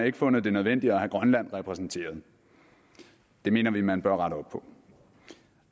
ikke fundet det nødvendigt at have grønland repræsenteret det mener vi man bør rette op på